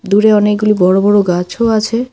দূরে অনেকগুলি বড়ো বড়ো গাছও আছে।